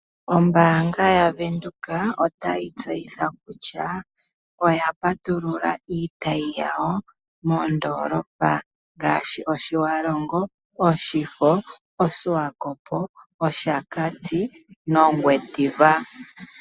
Ombaanga yaVenduka otayi tseyitha kutya, oya patulula iitayi yawo moondoolopa ngaashi, Oshiwalongo, Oshifo, Oshiwakopo, Oshakati, nOngwediva.